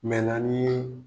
Mɛla n'i yee